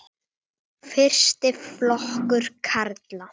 Fyrsti flokkur karla.